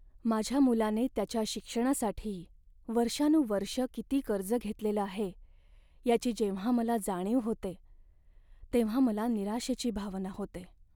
माझ्या मुलाने त्याच्या शिक्षणासाठी वर्षानुवर्षं किती कर्ज घेतलेलं आहे याची जेव्हा मला जाणीव होते तेव्हा मला निराशेची भावना होते.